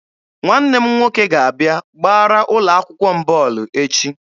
Nwanne m nwoke ga-abịa gbara ụlọ akwụkwọ m bọọlụ echi.